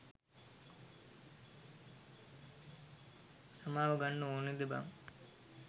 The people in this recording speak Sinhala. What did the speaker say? සමාව ගන්න ඕනෙද බන්.